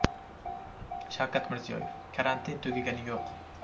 Shavkat Mirziyoyev: Karantin tugagani yo‘q.